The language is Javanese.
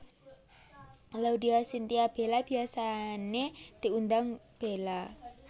Laudya Chintya Bella biyasané diundang Bella